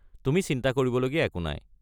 তুমি চিন্তা কৰিবলগীয়া একো নাই।